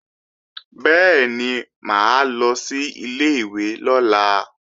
Bẹ́ẹ̀ni, mà á lọ sí ilé-ìwé lọ́la